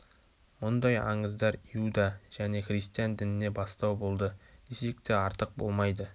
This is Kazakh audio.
мұндай аңыздар иуда және христиан дініне бастау болды десек те артық болмайды